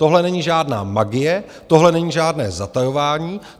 Tohle není žádná magie, tohle není žádné zatajování.